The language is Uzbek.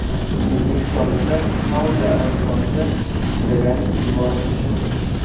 O‘zbekistonliklar Saudiya Arabistoniga ishlagani yuborilishi mumkin.